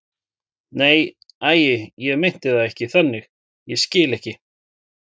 Nei, æi, ég meinti það ekki þannig, ég skil ekki.